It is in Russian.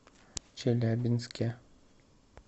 челябинске